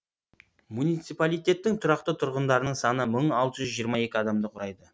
муниципалитеттің тұрақты тұрғындарының саны мың алты жүз жиырма екі адамды құрайды